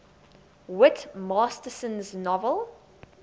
whit masterson's novel